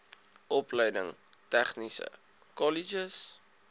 opleiding tegniese kolleges